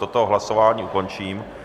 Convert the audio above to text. Toto hlasování ukončím.